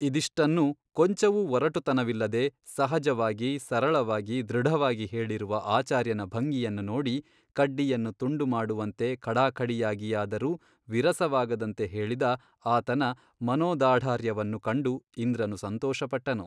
ಇದಿಷ್ಟನ್ನೂ ಕೊಂಚವೂ ಒರಟುತನವಿಲ್ಲದೆ ಸಹಜವಾಗಿ ಸರಳವಾಗಿ ದೃಢವಾಗಿ ಹೇಳಿರುವ ಆಚಾರ್ಯನ ಭಂಗಿಯನ್ನು ನೋಡಿ ಕಡ್ಡಿಯನ್ನು ತುಂಡುಮಾಡುವಂತೆ ಖಡಾಖಡಿಯಾಗಿಯಾದರೂ ವಿರಸವಾಗದಂತೆ ಹೇಳಿದ ಆತನ ಮನೋದಾಢರ್ಯ್ವನ್ನು ಕಂಡು ಇಂದ್ರನು ಸಂತೋಷಪಟ್ಟನು.